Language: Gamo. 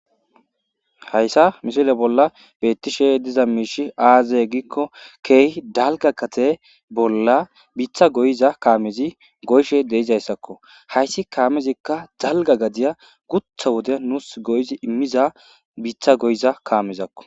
hayssa mishile bolla beettishe diza miishi aazey giikko keeh dalga kate bolla biitha goyiza kaamezi goyshe deizayssakko hayssi kaamezikka dalga gadiya gutha wode nuus goyizi immiza biitha goyiza kaamezakko